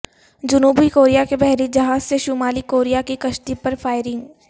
جنوبی کوریا کے بحری جہاز سے شمالی کوریا کی کشتی پر فائرنگ